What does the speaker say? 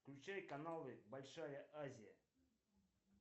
включай каналы большая азия